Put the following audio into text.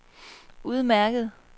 udmærket